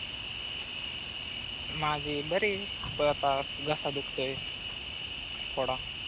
माझी बरी आहे घसा दुखतोय थोडा